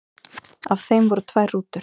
Af þeim voru tvær rútur.